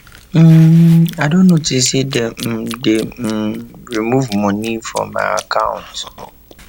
um i don notice say dem um dey um remove money from my account